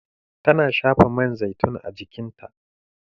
Tana shafa man zaitun a jikinta